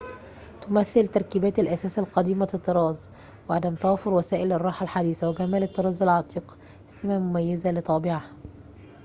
تمثّل تركيبات الأثاث قديمة الطراز وعدم توافر وسائل الراحة الحديثة وجمال الطراز العتيق سمة مميزة لطابعها